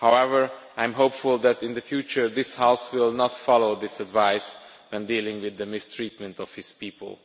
However, I am hopeful that in the future this House will not follow this advice when dealing with the mistreatment of his people.